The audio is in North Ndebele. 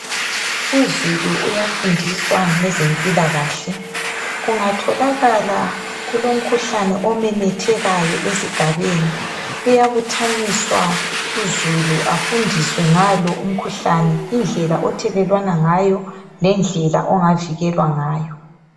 Uzulu uyafundiswa ngezempilakahle, kungatholakala kulomkhuhlane omemethekayo esigabeni kuyabuthaniswa uzulu afundiswe ngalo umkhuhlane indlela ithelelwana ngayo lendlela ongavikelwa ngayo